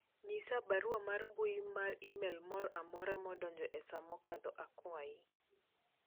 nyisa barua mar mbui mar email moro amora madonjo e saa mokadho akwayi